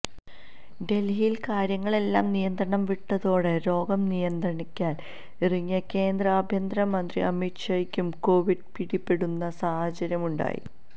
ഡൽഹിയിൽ കാര്യങ്ങളെല്ലാം നിയന്ത്രണം വിട്ടതോടെ രോഗം നിയന്ത്രിക്കാൻ ഇറങ്ങിയ കേന്ദ്ര ആഭ്യന്ത്രര മന്ത്രി അമിത്ഷായ്ക്കും കോവിഡ് പിടിപെടുന്ന സാഹചര്യം ഉണ്ടായി